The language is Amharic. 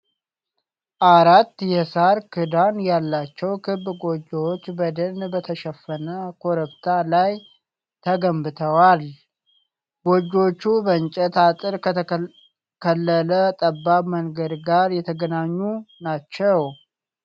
አራት የሣር ክዳን ያላቸው ክብ ጎጆዎች በደን በተሸፈነ ኮረብታ ላይ ተገንብተዋል። ጎጆዎቹ በእንጨት አጥር ከተከለለ ጠባብ መንገድ ጋር የተገናኙ ናቸው።